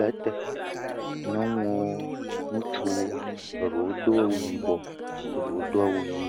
le ŋuti. Nyɔnuwo, ŋutsuwo, eɖewo do awu yibɔ, eɖewo do awu ɣi.